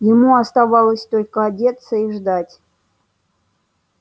ему оставалось только одеться и ждать